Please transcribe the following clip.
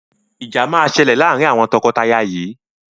Ìjà máa ṣẹlẹ̀ laarin awọn tọkọtaya yìí